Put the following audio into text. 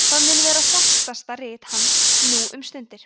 það mun vera þekktasta rit hans nú um stundir